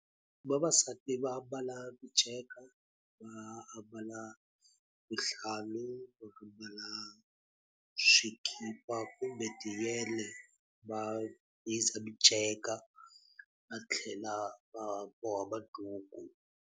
Vavasati va ambala miceka, va ambala vuhlalu, va ambala swikipa kumbe tiyele, va hiza miceka va tlhela va boha maduku.